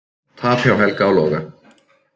Tap hjá Helga og Loga